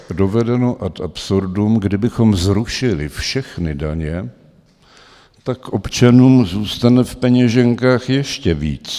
Dovedeno ad absurdum, kdybychom zrušili všechny daně, tak občanům zůstane v peněženkách ještě víc.